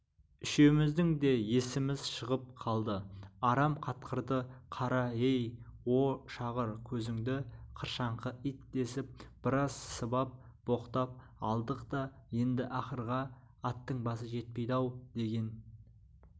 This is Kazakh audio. үшеуміздің де есіміз шығып қалды арам қатқырды қара-ей о шағыр көзіңді қыршаңқы ит десіп біраз сыбап боқтап алдық та енді ақырға аттың басы жетпейді-ау деген